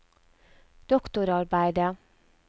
doktorarbeidet